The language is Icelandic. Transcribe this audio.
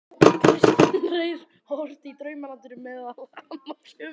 Kristinn Reyr orti í Draumalandinu meðal annars um